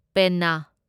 ꯄꯦꯟꯅꯥ